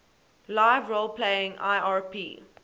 live role playing lrp